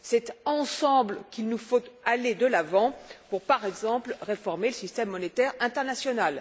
C'est ensemble qu'il nous faut aller de l'avant pour, par exemple, réformer le système monétaire international.